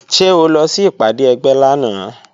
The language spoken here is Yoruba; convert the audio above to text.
Ṣé o lọ sí ìpàdé ẹgbẹ́ lánàá?